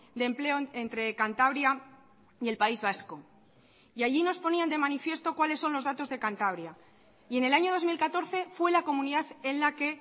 de empleo entre cantabria y el país vasco y allí nos ponían de manifiesto cuales son los datos de cantabria y en el año dos mil catorce fue la comunidad en la que